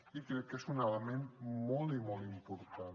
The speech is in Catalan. i crec que és un element molt i molt important